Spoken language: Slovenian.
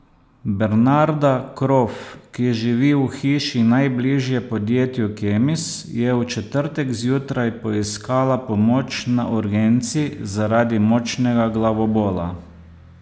Bernarda Kropf, ki živi v hiši najbližje podjetju Kemis, je v četrtek zjutraj poiskala pomoč na urgenci zaradi močnega glavobola.